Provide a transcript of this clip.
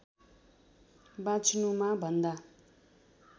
बाँच्नुमा भन्दा